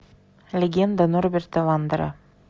легенда норберта вандера